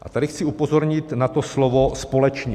A tady chci upozornit na to slovo "společně".